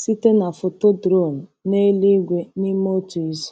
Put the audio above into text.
site na foto drone n’eluigwe n’ime otu izu.